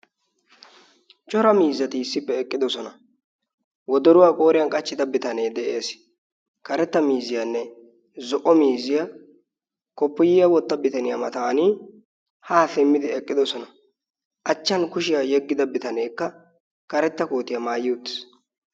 cora miizzati issippe eqqidosona. wodoruwaa qooriyan qachchida bitanee de'ees. karetta mizziyaanne zo'o miizziyaa koppuyiya wotta bitaniyaa matan haa simmidi eqqidosona. achchan kushiyaa yeggida bitaneekka karetta kootiyaa maayiutis